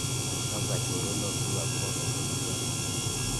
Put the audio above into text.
kapwa choronokchuk akobo kaberurani